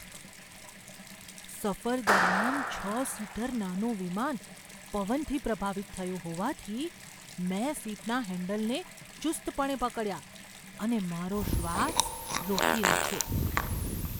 સફર દરમિયાન છ સીટર નાનું વિમાન પવનથી પ્રભાવિત થયું હોવાથી મેં સીટનાં હેન્ડલને ચુસ્તપણે પકડ્યાં અને મારો શ્વાસ રોકી રાખ્યો.